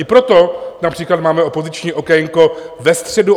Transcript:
I proto například máme opoziční okénko ve středu...